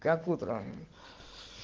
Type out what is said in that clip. как утром